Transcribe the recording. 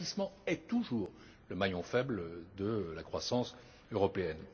L'investissement est toujours le maillon faible de la croissance européenne.